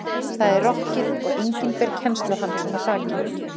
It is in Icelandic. Það er rokkið og enginn ber kennsl á hann svo hrakinn.